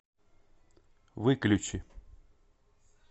выключи